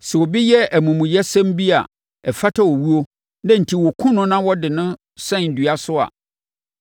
Sɛ obi yɛ amumuyɛsɛm bi a ɛfata owuo na enti wɔkum no na wɔde no sɛn dua so a,